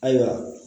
Ayiwa